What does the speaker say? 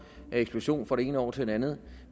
eksplosion fra det ene år til det andet år